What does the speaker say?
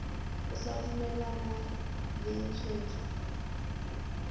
o sa dumalane le tshwetso